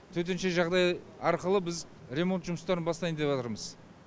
төтенше жағыдай арқылы біз ремонт жұмыстарын бастайын деватырмыз